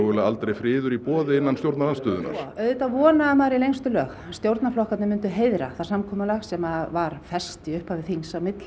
aldrei friður í boði innan stjórnarandstöðunnar auðvitað vonaði maður í lengstu lög að stjórnarflokkarnir myndu heiðra það samkomulag sem var fest í upphafi þings á milli